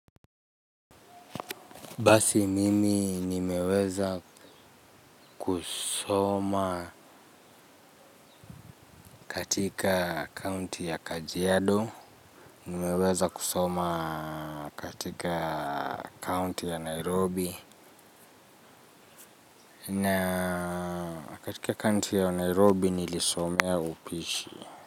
Basi mimi nimeweza kusoma katika kaunti ya kajiado nimeweza kusoma katika kaunti ya nairobi na katika kaunti ya nairobi nilisomea upishi.